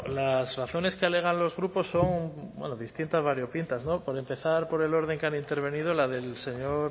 las razones que alegan los grupos son distintas variopintas no por empezar por el orden que han intervenido la del señor